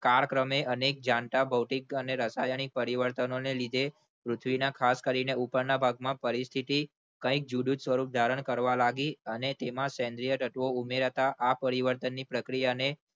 કાળક્રમે અનેક જાણતા ભૌતિક અને રાસાયણિક પરિણામોને લીધે પૃથ્વીના ખાસ કરીને ઉપરના ભાગમાં પરિસ્થિતી કંઇક જુદું જ સ્વરૂપ ધારણ કરવા ની અને તેમાં સેન્દ્રીય તત્વો ઉમેરીને હતા આ પ્રક્રિયાને પરિણામે